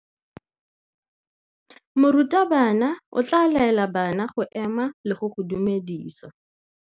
Morutabana o tla laela bana go ema le go go dumedisa.